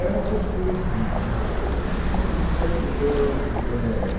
Era uma postura de vida, né. Então assim eu éh